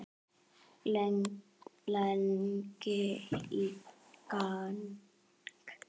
Lengi í gang.